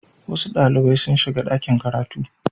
Wasu ɗalibai sun shiga ɗakin karatu.